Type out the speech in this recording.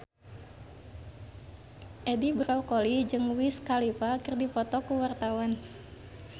Edi Brokoli jeung Wiz Khalifa keur dipoto ku wartawan